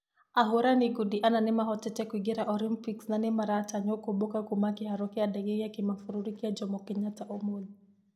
Ahũrani ngundi ana nĩmahotete kũingĩra olympics na nĩmaratanywo kũomboka kuuma kĩharo gĩa ndege gia kĩmabũrũri gĩa jomo kenhatta ũmũthĩ.